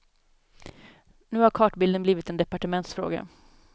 Nu har kartbilden blivit en departementsfråga.